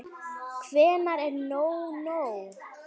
Hvenær er nóg nóg?